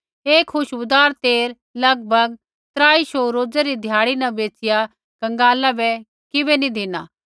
ऐ खुशबूदार तेल लगभग त्राई शौऊ रोजै़ री ध्याड़ी न बैचिया कंगाला बै किबै नैंई धिनी